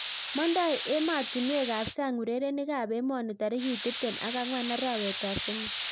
Mandoi ematunwek ap sang urerenik ap emoni tarik tiptem ak angwan arawet ap somok